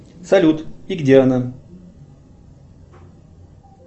салют и где она